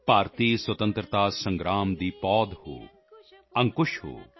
ਭਾਰਤੀ ਸਵਤੰਤਰਤਾ ਸੰਗ੍ਰਾਮ ਦੀ ਪੌਦ ਹੋ ਅੰਕੁਸ਼ ਹੋ